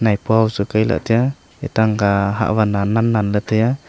maipo busa kaila tai a etang ang kya hahwan nan nan ley tai aa.